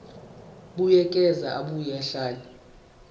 buyekeza abuye ahlele